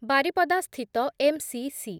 ବାରିପଦା ସ୍ଥିତ M C C